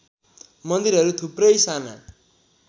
मन्दिरहरू थुप्रै साना